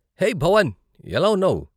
హే భవన్, ఎలా ఉన్నావు?